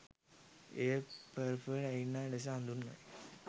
එය purple arena ලෙස හඳුන්වයි